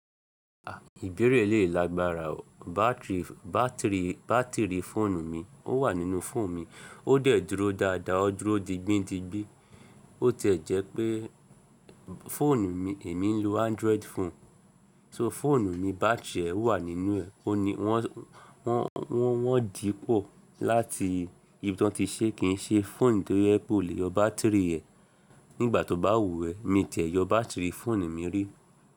À, ìbéèrè eléyìí lágbára o. Bátìrì, bátìrì, bátìrì fóònù mi ó wà nínú fóònù mi. Ó dẹ̀ dúró dáada, ó dúró digbín digbín. Ó ti ẹ̀ jẹ́ pé fóònù mi èmi ń lo Android phone. So fóònù mi bátìrì ẹ̀ wà nínú ẹ̀. O ni wọ́n, wọ́n, wọ́n, wọ́n dìípò láti ibi tí wọ́n ti ṣẹ́, kìí n ṣe fóònù tó yé pé o lè yọ bátìrì ẹ̀ nígbà tó bá wù ẹ́. Mi ti ẹ̀ yọ bátìrì fóònù mi rí.